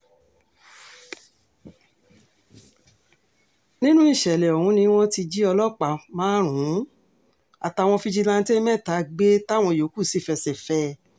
nínú ìṣẹ̀lẹ̀ ọ̀hún ni wọ́n ti jí ọlọ́pàá márùn-ún àtàwọn fíjìláńtẹ̀ mẹ́ta gbé táwọn yòókù sì fẹsẹ̀ fẹ́ ẹ